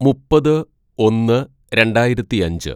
"മുപ്പത് ഒന്ന് രണ്ടായിരത്തിയഞ്ച്‌